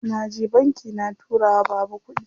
Naje banki na tura wa baba kuɗi.